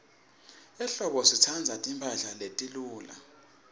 ehlobo sitsandza timphahla letiluca